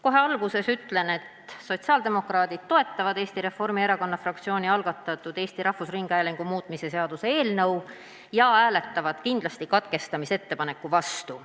Kohe alguses ütlen, et sotsiaaldemokraadid toetavad Eesti Reformierakonna fraktsiooni algatatud Eesti Rahvusringhäälingu seaduse muutmise seaduse eelnõu ja hääletavad kindlasti katkestamisettepaneku vastu.